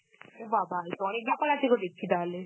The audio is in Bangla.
ও বাবা, এতো অনেক ব্যাপার আছে তো দেখছি তাহলে.